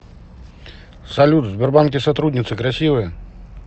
салют в сбербанке сотрудницы красивые